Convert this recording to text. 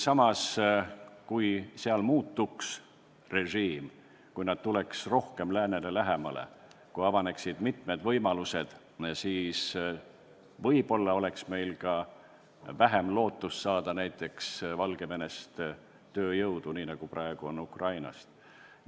Samas, kui seal muutuks režiim, nad tuleksid läänele lähemale ja avaneksid mitmed uued võimalused, siis võib-olla oleks meil vähem lootust saada Valgevenest näiteks tööjõudu, nii nagu praegu saame Ukrainast.